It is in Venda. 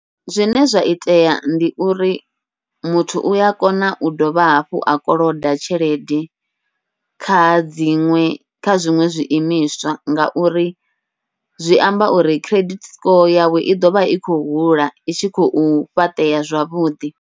Zwine zwa itea ndi uri muthu uya kona u dovha hafhu a koloda tshelede kha dziṅwe kha zwiṅwe zwi imiswa, ngauri zwi amba uri credit score yawe i ḓovha i khou hula i tshi khou fhaṱea zwavhuḓi.